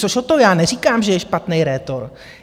Což o to, já neříkám, že je špatný rétor.